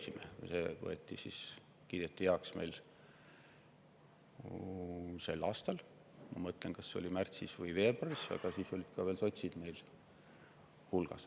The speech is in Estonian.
kiideti meil heaks sel aastal, ma mõtlen, kas see oli märtsis või veebruaris – siis olid ka sotsid veel meie hulgas.